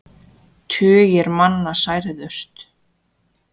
Tugir manna særðust.